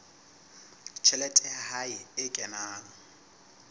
tjhelete ya hae e kenang